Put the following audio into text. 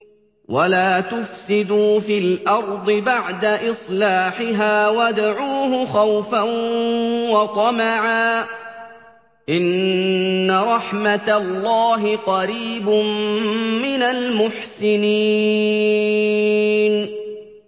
وَلَا تُفْسِدُوا فِي الْأَرْضِ بَعْدَ إِصْلَاحِهَا وَادْعُوهُ خَوْفًا وَطَمَعًا ۚ إِنَّ رَحْمَتَ اللَّهِ قَرِيبٌ مِّنَ الْمُحْسِنِينَ